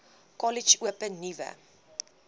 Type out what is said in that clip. kollege open nuwe